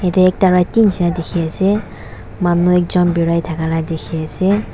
ete ekta rati nishe na dikhi ase manu ekjun birai thakia laka dikhi ase.